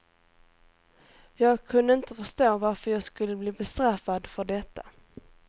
Jag kunde inte förstå varför jag skulle bli bestraffad för detta.